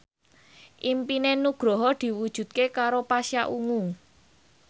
impine Nugroho diwujudke karo Pasha Ungu